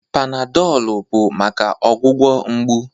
Panadolụ bụ maka ọgwụgwọ mgbu.